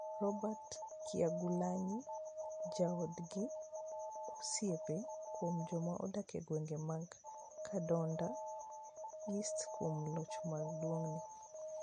Robert Kyagulanyi, joodgi, osiepe kod joma odak e gwenge mag Kyadondo East kuom locho maduong'ni.